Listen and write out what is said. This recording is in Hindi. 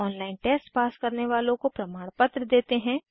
ऑनलाइन टेस्ट पास करने वालों को प्रमाणपत्र देते हैं